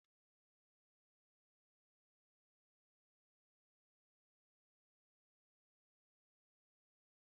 Obere ọkụkọ bụ akụkọ kacha amasị m maka na ọ bụ maka obere ọkụkọ chere na mbara igwe na-ada.